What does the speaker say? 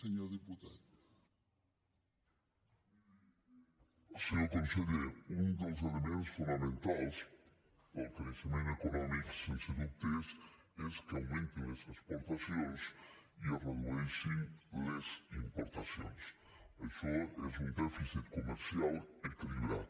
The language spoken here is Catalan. senyor conseller un dels elements fonamentals del creixement econòmic sense dubtes és que augmentin les exportacions i es redueixin les importacions això és un dèficit comercial equilibrat